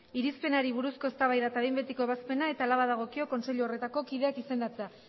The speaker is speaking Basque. irizpenari buruzko eztabaida eta behin betiko ebazpena eta hala badagokio kontseilu horretako kideak izendatzea